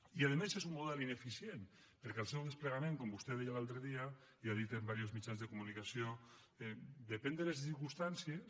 i a més és un model ineficient perquè el seu desplegament com vostè deia l’altre dia i ha dit en diversos mitjans de comunicació depèn de les circumstàncies